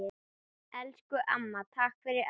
Elsku amma, takk fyrir allt!